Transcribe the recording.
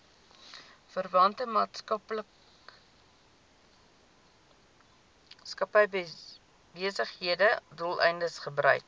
verwante maatskappybesigheidsdoeleindes gebruik